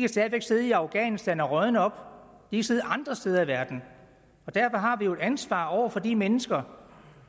kan sidde i afghanistan og rådne op de kan sidde andre steder i verden og derfor har vi jo et ansvar over for de mennesker